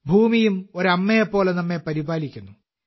ഭൂമിയും ഒരു അമ്മയെപ്പോലെ നമ്മെ പരിപാലിക്കുന്നു